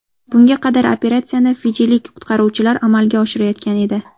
Bunga qadar operatsiyani fijilik qutqaruvchilar amalga oshirayotgan edi.